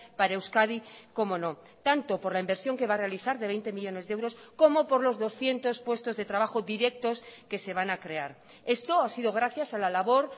para euskadi como no tanto por la inversión que va a realizar de veinte millónes de euros como por los doscientos puestos de trabajo directos que se van a crear esto ha sido gracias a la labor